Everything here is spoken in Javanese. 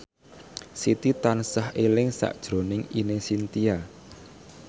Siti tansah eling sakjroning Ine Shintya